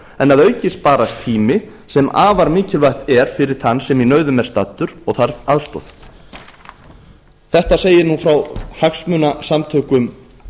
að auki sparast tími sem er afar mikilvægt fyrir þann sem í nauðum er staddur og þarf aðstoð þetta segir frá hagsmunasamtökum